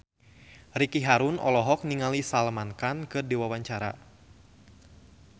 Ricky Harun olohok ningali Salman Khan keur diwawancara